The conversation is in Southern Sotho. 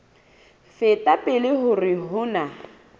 feta pele hore ho na